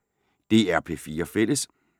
DR P4 Fælles